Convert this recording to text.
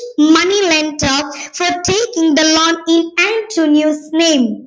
money lender for taking the loan in Antonio's name